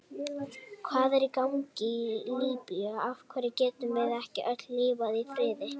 Hvað er í gangi í Líbíu, af hverju getum við ekki öll lifað í friði?